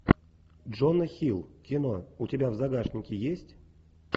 джона хилл кино у тебя в загашнике есть